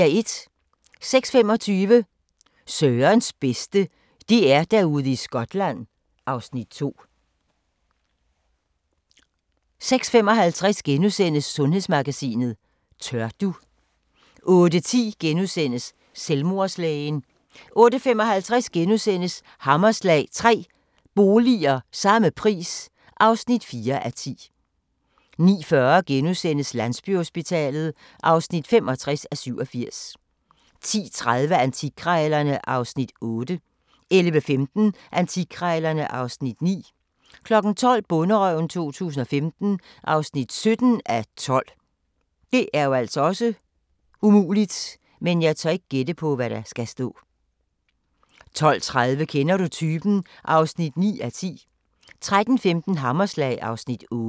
06:25: Sørens bedste: DR-Derude i Skotland (Afs. 2) 06:55: Sundhedsmagasinet: Tør du? * 08:10: Selvmordslægen * 08:55: Hammerslag – 3 boliger – samme pris (4:10)* 09:40: Landsbyhospitalet (65:87)* 10:30: Antikkrejlerne (Afs. 8) 11:15: Antikkrejlerne (Afs. 9) 12:00: Bonderøven 2015 (17:12) 12:30: Kender du typen? (9:10) 13:15: Hammerslag (Afs. 8)